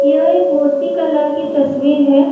यह एक मूर्ति कला की तस्वीर है।